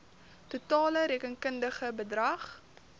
totale rekenkundige bedrag